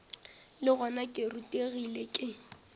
le gona ke rutegile ke